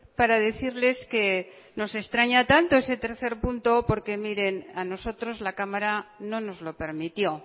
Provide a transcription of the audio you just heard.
para decirles que nos extraña tanto ese tercer punto porque miren a nosotros la cámara no nos lo permitió